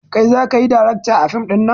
Kai zakayi darakta a fim ɗinnan